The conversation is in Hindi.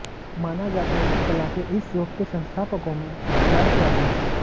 माना जाता है कि कला के इस रूप के संस्थापकों में अतियथार्थवादी हैं